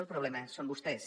el problema són vostès